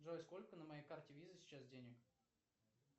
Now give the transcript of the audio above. джой сколько на моей карте виза сейчас денег